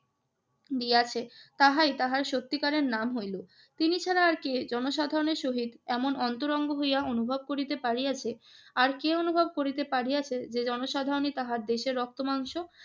দিয়াছে তাহাই তাহাই সত্যিকারের নাম হইল। তিনি ছাড়া আর কে জনসাধারণের সহিত এমন অন্তরঙ্গ হইয়া অনুভব করিতে পারিয়াছে, আর কে অনুভব করিতে পারিয়াছে যে জনসাধারণই তাহার দেশের রক্ত-মাংস